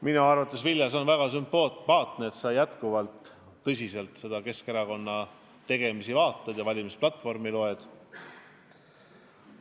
Minu arvates, Vilja, on väga sümpaatne, et sa jätkuvalt Keskerakonna tegemisi jälgid ja meie valimisplatvormi loed.